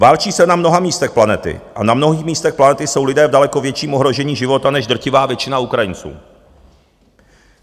Válčí se na mnoha místech planety a na mnohých místech planety jsou lidé v daleko větším ohrožení života než drtivá většina Ukrajinců.